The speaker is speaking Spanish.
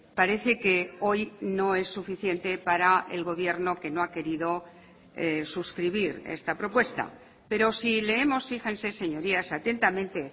parece que hoy no es suficiente para el gobierno que no ha querido suscribir esta propuesta pero si leemos fíjense señorías atentamente